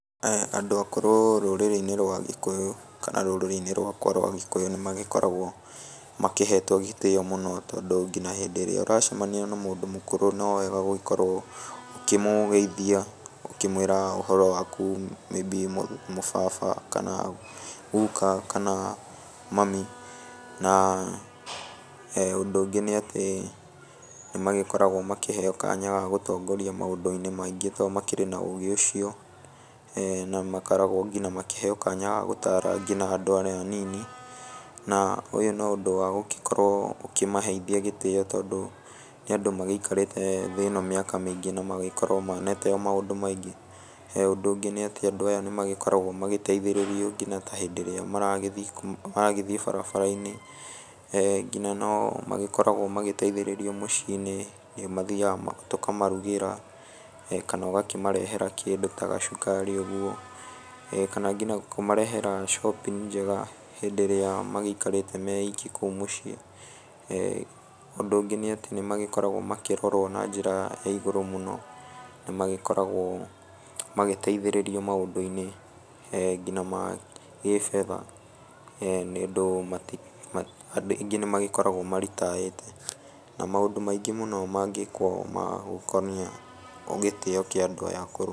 Eeh andũ akũrũ rũrĩrĩ-inĩ rwa gĩkũyũ, kana rũrĩrĩ-inĩ rwakwa rwa gĩkũyũ, nĩ magĩkoragwo makĩhetwo gĩtĩyo mũno, tondũ nginya hĩndĩ ĩrĩa ũracemania na mũndũ mũkũrũ nowega gũgĩkorwo ũkĩmũgeithia, ũkĩmwĩra ũhoro waku maybe mũbaba, kana guka, kana mami, na eeh ũndũ ũngĩ nĩ atĩ, nĩ magĩkoragwo magĩkĩheyo kanya gagũtongoria maũndũ-inĩ maingĩ to makĩrĩ na ũgĩ ũcio, eeh namakoragwo ngina makĩheyo kanya gagũtara nginya andũ arĩa anini, na ũyũ no ũndũ wagũgĩkorwo ũkĩmaheithia gĩtĩyo, tondũ nĩ andũ magĩikarĩte thĩ ĩno kwa mĩaka mĩingĩ, no magĩkorwo monete maũndũ maingĩ, ũndũ ũngĩ nĩ atĩ, andũ aya nĩ magĩkoragwo magĩgĩteithĩrĩrio ngina ta hĩndĩ ĩrĩa maragĩthiĩ kuu maragĩthiĩ barabara-inĩ, eeh ngina no magĩkoragwo magĩteithĩrĩrio mũciĩ-inĩ, nĩ mathiaga tokamarugĩra, kana ũgakĩmarehera kĩndũ ta gacukari ũguo, eeh kana ngina kũmarehera shopping njega, hĩndĩ ĩrĩa magĩikarĩte meiki kũu mũciĩ, eeh ũndũ ũngĩ nĩ atĩ nĩ magĩkoragwo makĩrorwo na njĩra ĩgũrũ mũno, nĩ magĩkoragwo magĩteithĩrĩrio maũndũ-inĩ eeh ngina ma gĩ fedha, eeh nĩ ũndũ mati andũ aingĩ nĩ magĩkoragwo makĩritayĩte, na maũndũ maingĩ mũno mangĩkwo magũkonia gĩtĩyo kĩa andũ aya akũrũ.